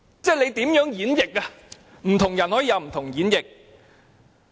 不同的人可以有不同的演繹。